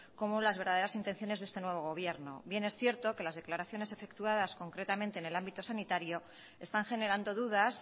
como las verdaderas intenciones de este nuevo gobierno bien es cierto que las declaraciones efectuadas concretamente en el ámbito sanitario están generando dudas